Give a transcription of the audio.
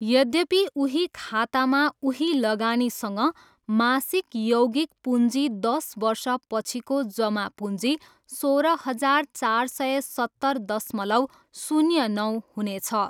यद्यपि, उही खातामा उही लगानीसँग मासिक यौगिक पुँजी दस वर्षपछिको जमा पुँजी सोह्र हजार चार सय सत्तर दशमलव शून्य नौ हुनेछ।